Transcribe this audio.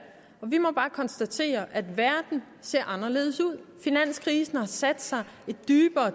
og vi må bare konstatere at verden ser anderledes ud finanskrisen har sat sig dybere